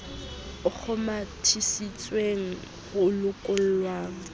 a kgomathisitsweng ho lokollweng ha